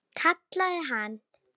Kallaði hann.